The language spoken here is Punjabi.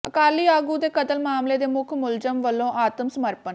ਅਕਾਲੀ ਆਗੂ ਦੇ ਕਤਲ ਮਾਮਲੇ ਦੇ ਮੁੱਖ ਮੁਲਜ਼ਮ ਵੱਲੋਂ ਆਤਮ ਸਮਰਪਣ